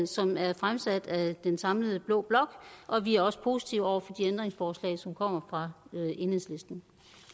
som er fremsat af den samlede blå blok og vi er også positive over for de ændringsforslag som kommer fra enhedslisten